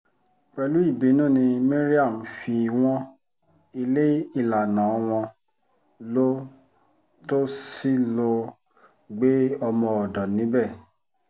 pẹ̀lú ìbínú ni maryam fi wọ́n ilé ìlànà wọn lọ tó sì lọ́ọ́ gbé ọmọ-ọ̀dọ̀ níbẹ̀